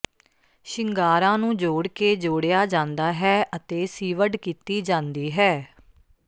ਸ਼ਿੰਗਾਰਾਂ ਨੂੰ ਜੋੜ ਕੇ ਜੋੜਿਆ ਜਾਂਦਾ ਹੈ ਅਤੇ ਸੀਵਡ ਕੀਤੀ ਜਾਂਦੀ ਹੈ